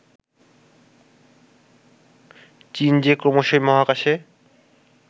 চীন যে ক্রমশই মহাকাশে